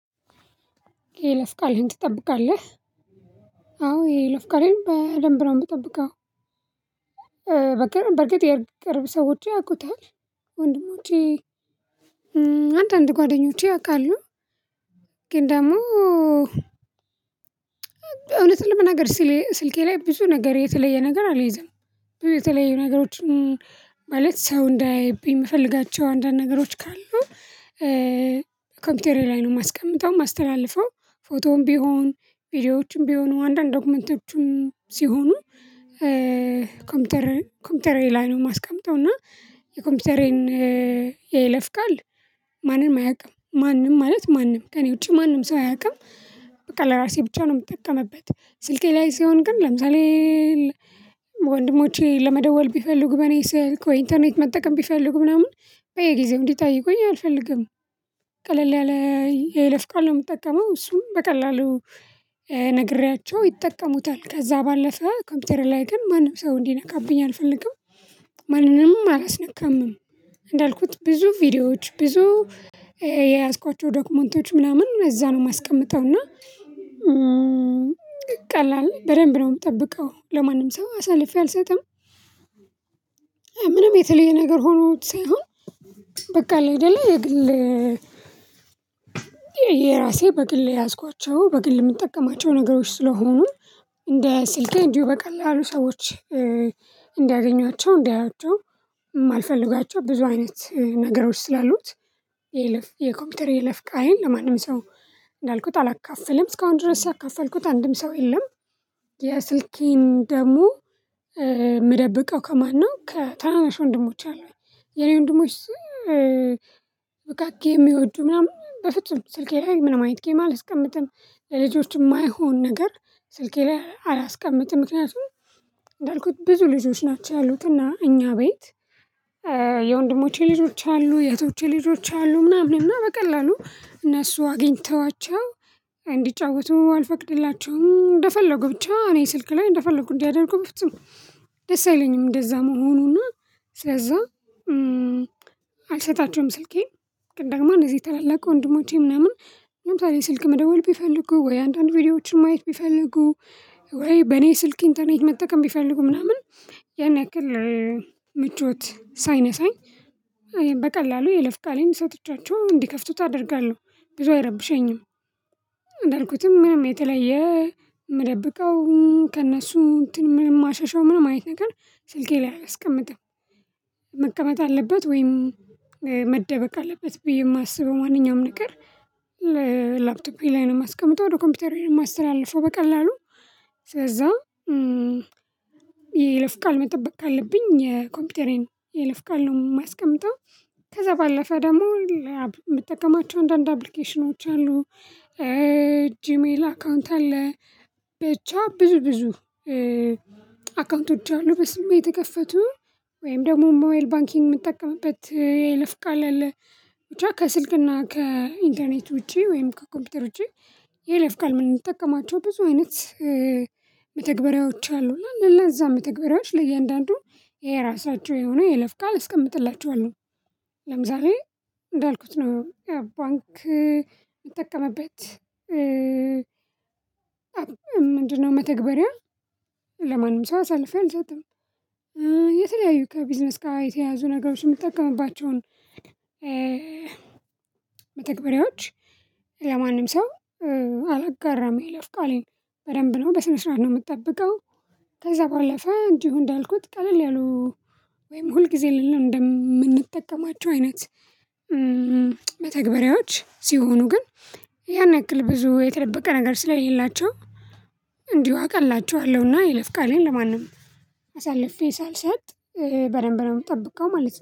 የይለፍቃልህን ትጠብቃለህ? አዎ የይለፍቃሌን በደንብ ነው የምጠብቀው። በቃ በርግጥ የቅርብ ሰዎቼ ያውቁታል። ወንድሞቼ አንዳንድ ጓደኞቼ ያውቃሉ። ግን ደግሞ እውነቱን ለመናገር ስልኬ ላይ ብዙ ነገር የተለየ ነገር አልይዝም። የተለያዩ ነገሮችን ማለት ሰው እንዳያይብኝ የምፈልጋቸው አንዳንድ ነገሮች ካሉ ኮምፒውተሬ ላይ ነው የማስቀምጠው የማስተላልፈው። ፎቶም ቢሆን፣ ቪዲዮዎችም ቢሆኑ፣ አንዳንድ ዶክመንቶችም ሲሆኑ ኮምፒውተር ኮምፒውተሬ ላይ ነው የማስቀምጠው። እና የኮምፒውተሬን የለፍ ቃል ማንም አያውቅም። ማንም ማለት ማንም ከእኔ ውጪ ማንም ሰው አያውቅም። በቃ ለራሴ ብቻ ነው የምጠቀምበት። ስልኬ ላይ ሲሆን ግን ለምሳሌ ወንድሞቼ ለመደወል ቢፈልጉ በኔ ስልክ ወይ ኢንተርኔት መጠቀም ቢፈልጉ ምናምን በየጊዜው እንዲጠይቁኝ አልፈልግም። ቀለል ያለ የይለፍቃል ነው የምጠቀመው። እሱም በቀላሉ ነግሬያቸው ይጠቀሙታል። ከዛ ባለፈ ኮምፒውተሬ ላይ ግን ማንም ሰው እንዲነካብኝ አልፈልግም። ማንንምም አላስነካምም። እንዳልኩት ብዙ ቪዲዮዎች ብዙ የያዝኳቸው ዶክመንቶች ምናምን እዛ ነው የማስቀምጠው እና ቀላል በደንብ ነው የምጠብቀው ለማንም ሰው አሳልፌ አልሰጥም። ምንም የተለየ ነገር ሆኖት ሳይሆን በቃ አለ አይደለ የግል የራሴ በግል የያዝኳቸው በግል የምንጠቀማቸው ነገሮች ስለሆኑ፤ እንደ ስልኬ እንዲሁ በቀላሉ ሰዎች እንዲያገኟቸው እንዲያዪዋቸው የማልፈልጋቸው ብዙ አይነት ነገሮች ስላሉት፤ የይለፍ የኮምፒውተር የይለፍቃሌን ለማንም ሰው እንዳልኩት አላካፍልም። እስካሁን ድረስ ያካፈልኩት አንድም ሰው የለም። የስልኬን ደግሞ የምደብቀው ከማነው ከታናናሽ ወንድሞች አሉኝ። የኔ ወንድሞች ውቃችን የሚወዱ ምናምን በፍጹም ስልኬ ላይ ምንም አይነት ጌም አልቀምጥም። ለልጆች የማይሆን ነገር ስልኬ ላይ አላስቀምጥም። ምክንያቱም እንዳልኩት ብዙ ልጆች ናቸው ያሉት እና እኛ ቤት የወንድሞቼ ልጆች አሉ የእህቶቼ ልጆች አሉ ምናምን እና በቀላሉ እነሱ አግኝተዋቸው እንዲጫወቱ አልፈቅድላቸውም። እንደፈለጉ ብቻ እኔ ስልክ ላይ እንደፈለጉ እንዲያደርጉ በፍጹም ደስ አይለኝም እንደዛ መሆኑና ስለዛ አልሰጣቸውም ስልኬን። ግን ደግሞ እነዚህ ታላላቅ ወንድሞቼ ምናምን ለምሳሌ ስልክ መደወል ቢፈልጉ ወይ አንዳንድ ቪዲዮዎችን ማየት ቢፈልጉ ወይ በኔ ስልክ ኢንተርኔት መጠቀም ቢፈልጉ ምናምን ያን ያክል ምቾት ሳይነሳኝ በቀላሉ የይለፍቃሌን ሰጥቻቸው እንዲከፍቱት አደርጋለሁ ብዙ አይረብሸኝም። እንዳልኩትም ምንም የተለየ የምደብቀው ከእነሱ እንትን ምንም ማሸሸው ምንም አይነት ነገር ስልኬ ላይ አላስቀምጥም። መቀመጥ አለበት ወይም መደበቅ አለበት ብዬ የማስበው ማንኛውም ነገር ለላፕቶፔ ላይ ነው የማስቀምጠው ወደ ኮምፒውተሬ ነው የማስተላለፈው በቀላሉ። ስለዛ የይለፍቃል መጠበቅ ካለብኝ የኮምፒውተሬን የይለፍ ቃል ነው የማስቀምጠው ከዛ ባለፈ ደግሞ የምጠቀማቸው አንዳንድ አፕሊኬሽኖች አሉ። ጂሜል አካውንት አለ ብቻ ብዙ ብዙ አካውንቶቼ አሉ በስሜ የተከፈቱ። ወይም ደግሞ ሞባይል ባንኪንግ የምጠቀምበት የይለፍ ቃል አለ። ብቻ ከስልክና ከኢንተርኔት ውጪ ወይም ከኮምፒውተር ውጪ የይለፍቃል የምንጠቀማቸው ብዙ አይነት መተግበሪያዎች አሉ እና ለእነዛ መተግበሪያዎች ለእያንዳንዱ የራሳቸው የሆኑ የይለፍቃል አስቀምጥላቸዋለሁ። ለምሳሌ እንዳልኩት ነው ባንክ የምጠቀመበት ምንድነው መተግበሪያ ለማንም ሰው አሳልፌ አልሰጥም። የተለያዩ ከቢዝነስ ጋር የተያያዙ ነገሮች የምትጠቀምባቸውን መተግበሪያዎች ለማንም ሰው አላጋራም የይለፍቃሌን። በደንብ ነው በስነ ስርዓት ነው የምጠብቀው። ከዛ ባለፈ እንዲሁ እንዳልኩት ቀለል ያሉ ወይም ሁልጊዜ የሌለው እንደምንጠቀማቸው አይነት መተግበሪያዎች ሲሆኑ ግን ያን ያክል ብዙ የተደበቀ ነገር ስለሌላቸው እንዲሁ አቀላቸዋለሁና የይለፍ ቃሌን ለማንም አሳልፌ ሳልሰጥ በደንብ ነው የምጠብቀው ማለት ነው።